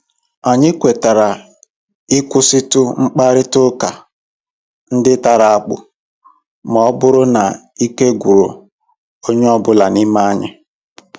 Anyị kwetara ịkwụsịtụ mkparịta ụka ndị tara akpụ ma ọ bụrụ na ike gwụrụ onye ọ bụla n'ime anyị.